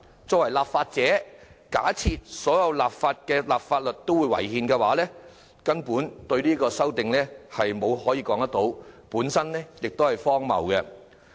作為立法者，若假設訂立的法例違憲，卻對其提出修正案，根本說不通，也很荒謬。